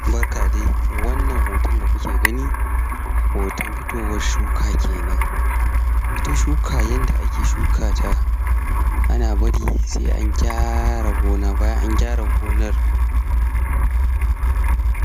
umm Barka dai wannan hoton da kuke gani hoton fitowan shuka kenan ita shuka yanda ake shuka ta ana bari sai an gyara gona, bayan an gyara gonar